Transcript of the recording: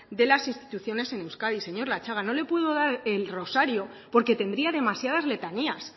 de las instituciones en euskadi señor latxaga no le puedo dar el rosario porque tendría demasiadas letanías